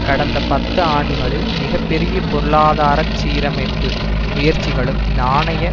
கடந்த பத்து ஆண்டுகளில் மிக பெரிய பொருளாதார சீரமைப்பு முயற்சிகளும் நாணய